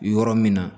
Yɔrɔ min na